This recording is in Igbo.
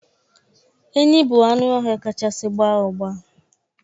Enyí bụ anụ ọhịa kachasị gbaa ụgba